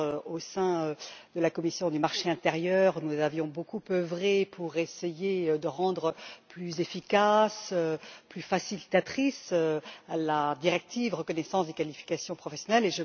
Au sein de la commission des marchés intérieurs, nous avions beaucoup œuvré pour essayer de rendre plus efficace et plus facilitatrice la directive sur la reconnaissance des qualifications professionnelles.